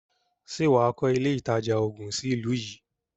Ṣè wà á kọ́ ilé ìtajà oògun sí ìlú yìí?